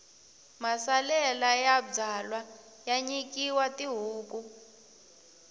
masalela ya byalwa ya nyikiwa tihuku